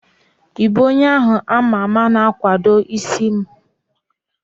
Ị bụ onye ahu ama ama na-akwadoma isi dada?